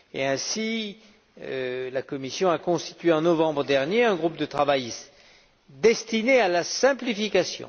Ainsi, la Commission a constitué en novembre dernier un groupe de travail destiné à la simplification.